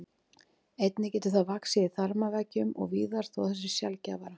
Einnig getur það vaxið í þarmaveggjum og víðar þó að það sé sjaldgæfara.